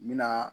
N bɛna